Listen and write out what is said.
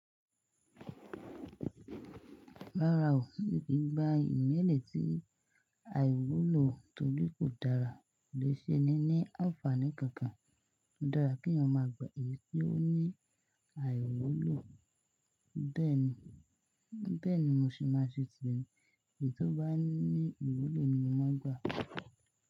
Rárá o, kí n gba ìmẹ́lẹ́ tí àìwúlò torí kò dára, kò le ṣe ni ní àǹfààní kankan. Ó daa kí èèyàn máa gba èyí tí ó ní àìwúlò, bẹ́ẹ̀ ni mo ṣe máa ṣe tì Èyí tó bá ní ìwúlò ni mo máa ń gba.